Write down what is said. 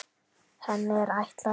Henni er ætlað að